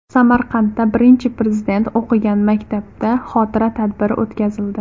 Samarqandda Birinchi Prezident o‘qigan maktabda xotira tadbiri o‘tkazildi.